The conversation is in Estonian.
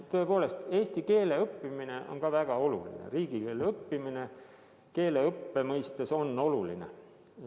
Tõepoolest, eesti keele õppimine on väga oluline, riigikeele õppimine keeleõppe mõistes on oluline.